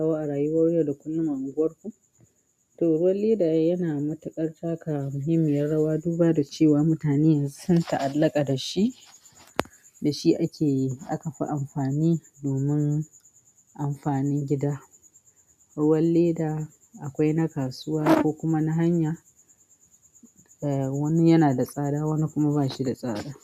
Ko a rayuwar yau da kullun, kuma unguwarku, to ruwan leda yana matuƙar taka muhimmiyar rawa. Duba da cewa mutane sun ta'allaka da shi, da shi ake akafi amfani domin amfanin gida. Ruwan leda akwai na kasuwa ko kuma na hanya, wani yana da tsada, wani kuma ba shi da tsada.